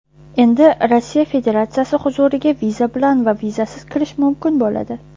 Endi Rossiya Federatsiyasi hududiga viza bilan va vizasiz kirish mumkin bo‘ladi.